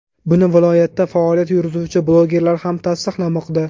Buni viloyatda faoliyat yurituvchi blogerlar ham tasdiqlamoqda.